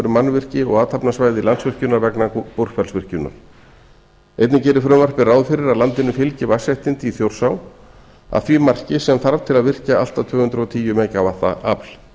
mannvirki og athafnasvæði landsvirkjunar vegna búrfellsvirkjunar einnig gerir frumvarpið ráð fyrir að landinu fylgi vatnsréttindi í þjórsá að því marki sem þarf til að virkja allt að tvö hundruð og tíu megavatta afl